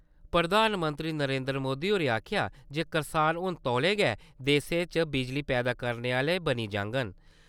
प्रधानमंत्री नरेन्द्र मोदी होरें आक्खेआ जे करसान हुन तौलें गै देशै च बिजली पैदा करने आह्‌ले बनी जांङन।